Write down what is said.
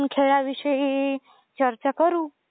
खेळाविषयी चर्चा करू